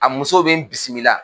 A muso be n bisimila.